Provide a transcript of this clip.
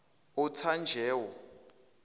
othanjewo